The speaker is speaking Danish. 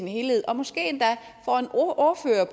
helhed og måske endda